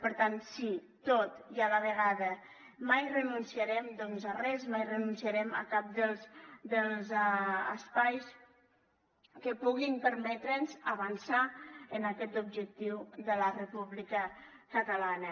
per tant sí tot i a la vegada mai renunciarem a res mai renunciarem a cap dels espais que puguin permetre’ns avançar en aquest objectiu de la república catalana